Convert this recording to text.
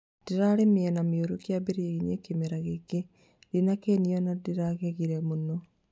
Ndĩrarĩ mĩena mĩũru kĩambĩrĩria-inĩ kĩmera gĩkĩ, ndinakenio na nĩndĩragegire mũno